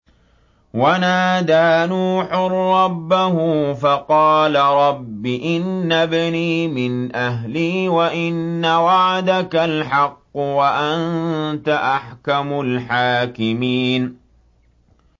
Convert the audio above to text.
وَنَادَىٰ نُوحٌ رَّبَّهُ فَقَالَ رَبِّ إِنَّ ابْنِي مِنْ أَهْلِي وَإِنَّ وَعْدَكَ الْحَقُّ وَأَنتَ أَحْكَمُ الْحَاكِمِينَ